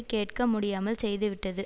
கேட்க முடியாமல் செய்துவிட்டது